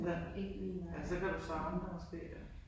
Ja. Ja så kan du savne det måske ja